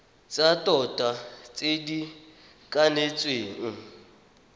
tsa tota tse di kanetsweng